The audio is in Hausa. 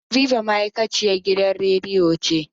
Habiba ma'aikaciyan gidan radiyo ce.